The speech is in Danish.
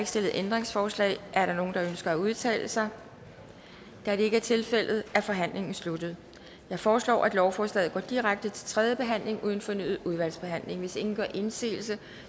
stillet ændringsforslag er der nogen der ønsker at udtale sig da det ikke er tilfældet er forhandlingen sluttet jeg foreslår at lovforslaget går direkte til tredje behandling uden fornyet udvalgsbehandling hvis ingen gør indsigelse